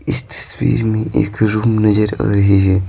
इस तस्वीर में एक रूम नजर आ रहे है।